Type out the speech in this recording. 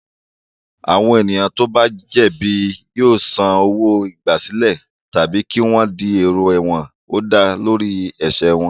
Àwọn ènìyàn tó bá jẹ̀bi yóò san owó-igbàsílẹ̀ tàbí kí wọ́n di èrò ẹ̀wọ̀n ó dá lórí ẹ̀ṣẹ̀ wọn.